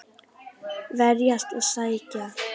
Verjast og sækja.